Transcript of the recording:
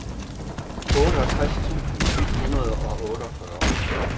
otteogtres tusind et hundrede og otteogfyrre